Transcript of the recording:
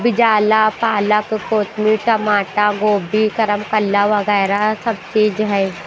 बिजाला पाला ककोतमी टमाटा गोभी करमकल्ला वगैरा सब चीज है।